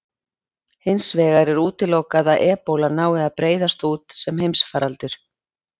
Hins vegar er útilokað að ebóla nái að breiðast út sem heimsfaraldur.